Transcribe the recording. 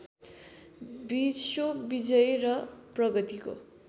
विश्वविजय र प्रगतिको